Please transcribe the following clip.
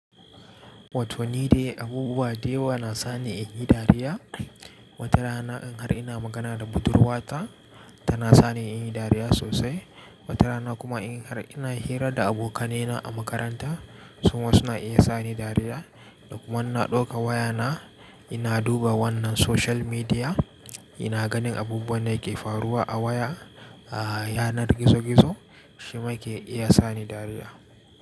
Wato ni dai abubuwa da yawa na sani in yi dariya. Wata rana in har ina magana da budurwa ta, tana sani in yi dariya sosai. Wata rana kuma in har ina hira da abokanai na a makaranta, su ma suna iya sa ni dariya. Da kuma in na ɗauka waya na ina duba wannan social media, ina ganin abubuwan da yake faruwa a waya, a yanar gizo-gizo, shi ma ke iya sa ni dariya.